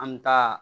An mi taa